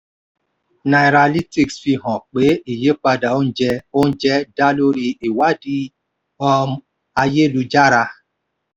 nairalytics fi hàn pé ìyípadà oúnjẹ oúnjẹ dá lórí ìwádìí um ayélujára.